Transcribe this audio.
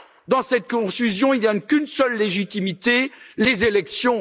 Dans cette confusion, il n'y a qu'une seule légitimité les élections.